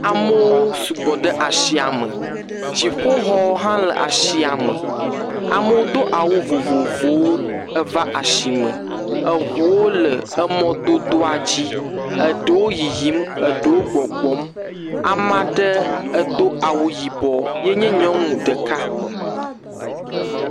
Amewo sugbɔ ɖe asia me dziƒoxɔ hã le asia me, amewo do awu vovovowo eva asime eŋuwo le emɔdodoa dzi eɖewo yiyim eɖewo gbɔgbɔm, ame aɖe edo awu yibɔ ye nye nyɔnu ɖeka.